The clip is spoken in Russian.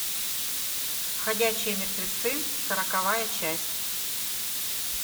ходячие мертвецы сороковая часть